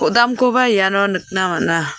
kodamkoba iano nikna man·a.